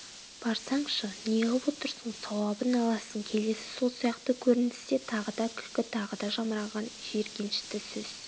барсаңшы неғып отырсың сауабын аласың келесі сол сияқты көріністе тағы да күлкі тағы да жамыраған жиіркенішті сөз